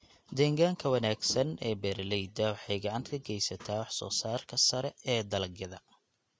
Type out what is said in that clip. Deegaanka wanaagsan ee beeraleyda waxay gacan ka geysataa waxsoosaarka sare ee dalagyada.